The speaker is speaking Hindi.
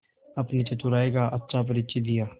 अपनी चतुराई का अच्छा परिचय दिया